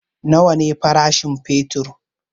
Nawa ne farashin fetur?